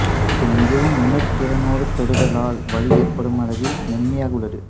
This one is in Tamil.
இது மிகவும் உணர்திறனோடு தொடுதலால் வலி ஏற்படுமளவில் மென்மையாக உள்ளது